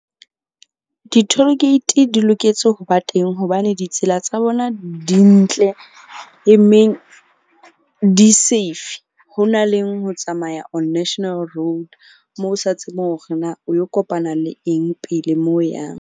Di-toll gate di loketse ho ba teng hobane ditsela tsa bona di ntle e meng di safe. Ho na leng ho tsamaya on national road, moo o sa tsebeng hore na o yo kopana le eng pele moo o yang.